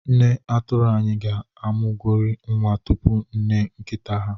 Nne atụrụ anyị ga-amụgori nwa tupu nne nkita ha.